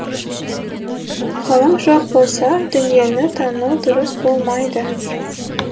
ғылым жоқ болса дүниені тану дұрыс болмайды